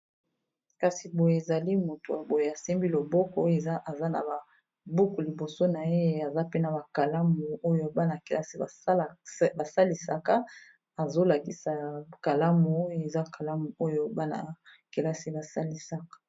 kasi boye ezali motoboye asembi loboko oyo eza na ba buku liboso na ye aza pena bakalamu oyo bana-kelasi basalisaka azolakisa yakalamu oyo eza kalamu oyo bana-kelasi basalisaka